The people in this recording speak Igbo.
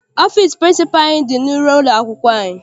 Ọfịịsi pịrịnsịpalụ anyị dị n'iru ụlọakwụkwọ anyị.